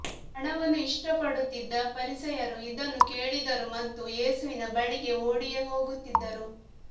ಹಣವನ್ನು ಇಷ್ಟಪಡುತ್ತಿದ್ದ ಫರಿಸಾಯರು ಇದನ್ನು ಕೇಳಿದರು ಮತ್ತು ಯೇಸುವಿನ ಬಳಿಗೆ ಓಡಿಹೋಗುತ್ತಿದ್ದರು